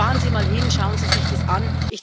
Fahren Sie einmal hin, schauen Sie sich das an!